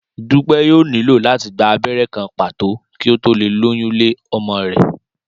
Dúpẹ́ yóò nílò láti gba abẹ́rẹ́ kan pàtó kí ó tó lè lóyún lé ọmọ rẹ̀